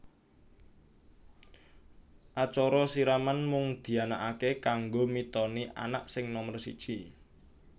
Acara siraman mung dianakake kanggo mitoni anak sing nomer siji